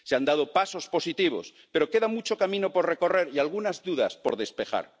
Se han dado pasos positivos, pero queda mucho camino por recorrer y algunas dudas por despejar.